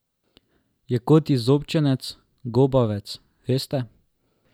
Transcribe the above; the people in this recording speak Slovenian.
Je kot izobčenec, gobavec, veste?